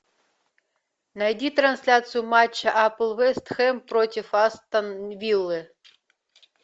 найди трансляцию матча апл вест хэм против астон виллы